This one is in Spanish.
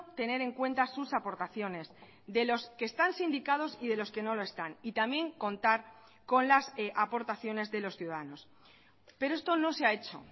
tener en cuenta sus aportaciones de los que están sindicados y de los que no lo están y también contar con las aportaciones de los ciudadanos pero esto no se ha hecho